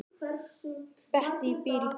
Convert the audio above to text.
Bettý býr í blokk.